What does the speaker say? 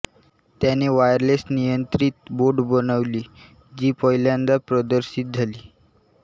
त्याने वायरलेसनियंत्रित बोट देखील बनविली जी पहिल्यांदा प्रदर्शित झाली